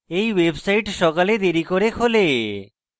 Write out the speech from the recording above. এই websites সকালে দেরী করে খোলে